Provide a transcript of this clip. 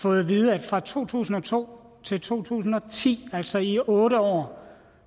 fået at vide at fra to tusind og to til to tusind og ti altså i otte år